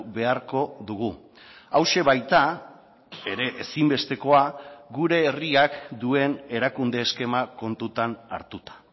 beharko dugu hauxe baita ere ezinbestekoa gure herriak duen erakunde eskema kontutan hartuta